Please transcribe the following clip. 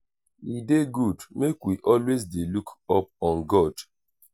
e dey good make we always dey look up on god